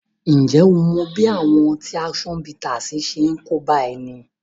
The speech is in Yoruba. Ǹjẹ́ ó mọ bí àwọn ọtí action bittersi ṣe ń kóbá ẹni?